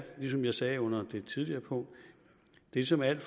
som jeg sagde under det tidligere punkt ligesom alt